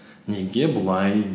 неге бұлай